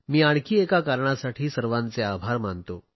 मी आणखी एका कारणासाठी सर्वांचे आभार मानतो